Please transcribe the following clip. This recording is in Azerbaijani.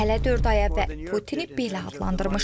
Hələ dörd aya və Putini belə adlandırmışdı.